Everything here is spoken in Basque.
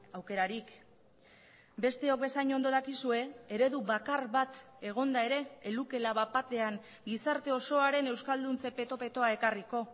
aukerarik besteok bezain ondo dakizue eredu bakar bat egonda ere ez lukeela bat batean gizarte osoaren euskalduntze peto petoa ekarriko